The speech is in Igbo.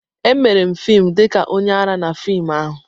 Emere m fim dị ka onye ara na fim ahụ.